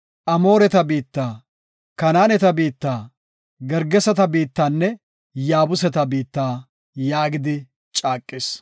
Amooreta biitta, Kanaaneta biitta, Gergeseta biittanne Yaabuseta biitta” yaagidi caaqis.